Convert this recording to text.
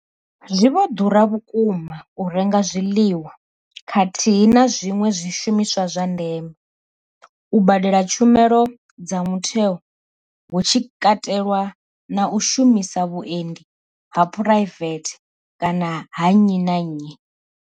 Zwi vho ḓura vhukuma u renga zwiḽiwa khathihi na zwiṅwe zwishumiswa zwa ndeme, u badela tshumelo dza mutheo hu tshi katelwa na u shumisa vhuendi ha phuraivethe kana ha nnyi na nnyi.